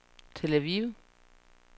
Tel Aviv